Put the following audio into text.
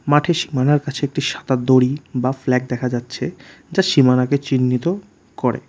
মাঠের সীমানার কাছে একটি সাদা দড়ি বা ফ্ল্যাগ দেখা যাচ্ছে যা সীমানাকে চিহ্নিত করে।